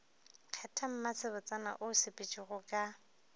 kgetha mmasebotsana o sepetšego ka